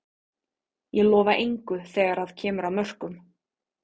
Ég lofa engu þegar að kemur að mörkum.